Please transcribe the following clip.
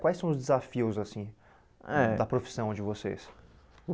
Quais são os desafios assim eh da profissão de vocês?